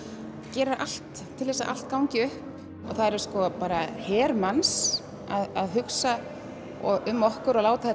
gerir allt til að allt gangi upp það er her manns að hugsa um okkur og láta